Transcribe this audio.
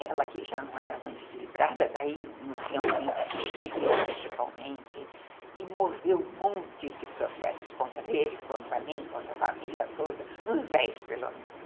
Ela que já não era muito equilibrada, daí realmente se desequilibrou totalmente e moveu montes de processos contra ele, contra mim, contra a família toda, uns dez pelo menos.